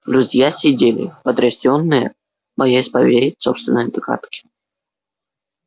друзья сидели потрясённые боясь поверить собственные догадки